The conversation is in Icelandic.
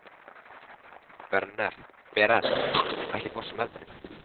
Berent, ekki fórstu með þeim?